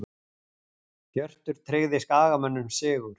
Hjörtur tryggði Skagamönnum sigur